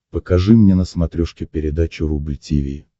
покажи мне на смотрешке передачу рубль ти ви